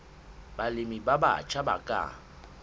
balemi ba batjha ba ka